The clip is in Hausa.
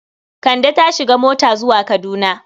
Kande ta shiga mota zuwa Kaduna.